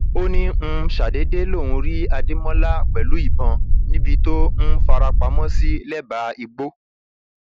ó ní um ṣàdédé lòún rí adémọlá pẹlú ìbọn níbi tó um fara pamọ sí lẹbàá igbó